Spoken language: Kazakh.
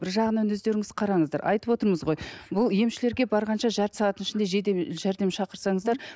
бір жағынан өздеріңіз қараңыздар айтып отырмыз ғой бұл емшілерге барғанша жарты сағаттың ішінде жедел жәрдем шақырсаңыздар